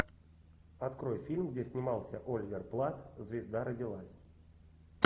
открой фильм где снимался оливер платт звезда родилась